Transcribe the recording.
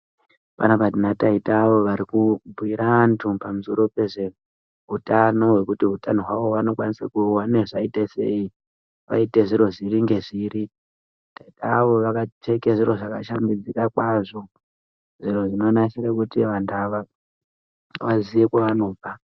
Panapa tina taitavo varikubhiira anthu pamusoro pezveutano wekuti utano hwao vanokwanisa kuuona zvaitasei vaite zviro zviri ngezviri taita avo vakapfeka zviro zvakashambidzika kwazvo zviro zvinonasira kuti vanthu ava vaziye kwavanobva.